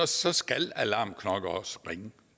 så skal alarmklokkerne også ringe